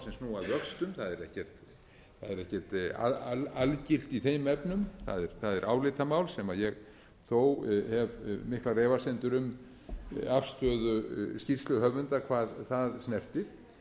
snúa að vöxtum það er ekkert algilt í þeim efnum það er álitamál sem ég þó hef miklar efasemdir um afstöðu skýrsluhöfunda hvað það snertir